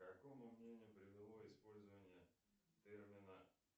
к какому мнению привело использование термина